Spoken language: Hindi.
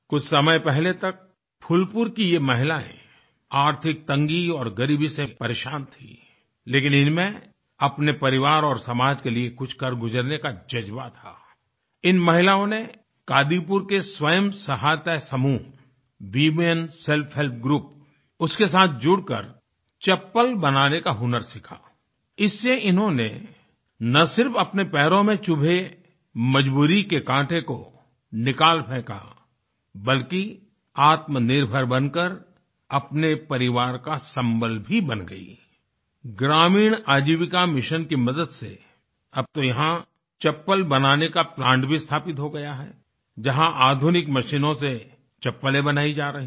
कुछ समय पहले तक फूलपुर की ये महिलाएँ आर्थिक तंगी और गरीबी से परेशान थीं लेकिन इनमें अपने परिवार और समाज के लिए कुछ कर गुजरने का जज़्बा था आई इन महिलाओं ने कादीपुर के स्वंय सहायता समूहWomen सेल्फ हेल्प ग्रुप उसके साथ जुड़कर चप्पल बनाने का हुनर सीखा इससे इन्होंने न सिर्फ अपने पैरों में चुभे मजबूरी के कांटे को निकाल फेंका बल्कि आत्मनिर्भर बनकर अपने परिवार का सम्बल भी बन गईं आई ग्रामीण आजीविका मिशन की मदद से अब तो यहाँ चप्पल बनाने काplant भीस्थापित हो गया है जहाँ आधुनिक मशीनों से चप्पलें बनाई जा रही हैं